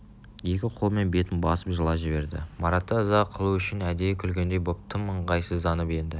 екі қолымен бетін басып жылап жіберді маратты ыза қылу үшін әдейі күлгендей боп тым ыңғайсызданып енді